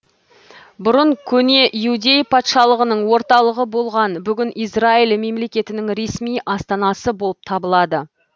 бұрын көне иудей патшалығының орталығы болған бүгін израиль мемлекетінің ресми астанасы болып табылады